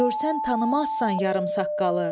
Görsən tanımazsan yarım saqqalı.